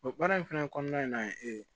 baara in fana kɔnɔna na ye e ye